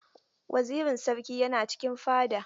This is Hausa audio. Wazirin sarki yana cikin fada.